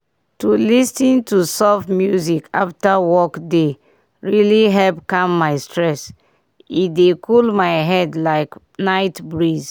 to lis ten to soft music after work dey really help calm my stress e dey cool my head like night breeze.